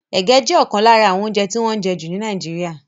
Ege jẹ́ ọ̀kan lára àwọn oúnjẹ tí wọ́n ń jẹ jù ní Nàìjíríà.